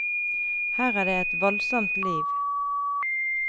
Her er det et voldsomt liv.